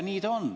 Nii ta on.